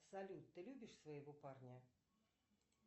салют ты любишь своего парня